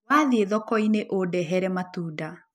Wathiĩ thoko-inĩ ũndehere matunda.